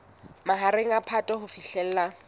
mahareng a phato ho fihlela